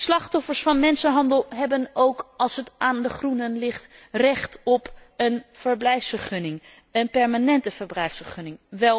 Slachtoffers van mensenhandel hebben, als het aan de Groenen ligt, ook recht op een verblijfsvergunning, een permanente verblijfsvergunning.